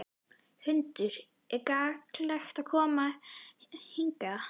Hrund: Er gagnlegt að koma hingað?